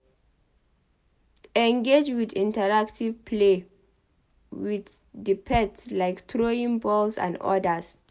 Engage with interactive play with di pet like throwing balls and odas